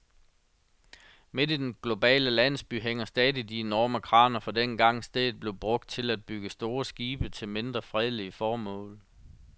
Midt i den globale landsby hænger stadig de enorme kraner fra dengang, stedet blev brugt til at bygge store skibe til mindre fredelige formål.